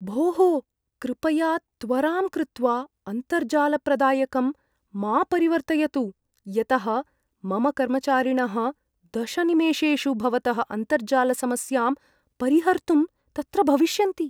भोः, कृपया त्वराम् कृत्वा अन्तर्जालप्रदायकं मा परिवर्तयतु, यतः मम कर्मचारिणः दश निमेषेषु भवतः अन्तर्जालसमस्यां परिहर्तुं तत्र भविष्यन्ति।